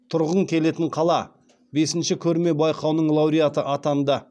тұрғың келетін қала бесінші көрме байқауының лауреаты атанды